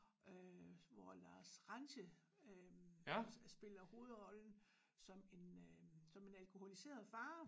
Øh hvor Lars Ranthe øh spiller hovedrollen som en øh som en alkoholiseret far